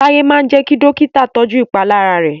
T'aiye má jé kí Dọ́kítà tọjú ìpalára rẹ?